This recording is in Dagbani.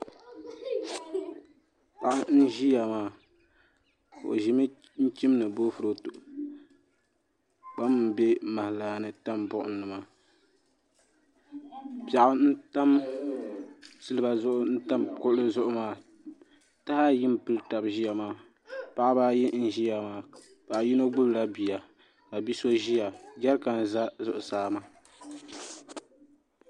Paɣa n ʒiya maa o ʒimi chimdi boofurooto kpam n bɛ maha laa ni n tam buɣum ni maa piɛɣu n silba zuɣu taha ayi n pili tab ʒiya maa paɣaba ayi n ʒiya maa paɣa yino gbubila bia ka bi so ʒiya jɛrikan n ʒɛ zuɣusaa maa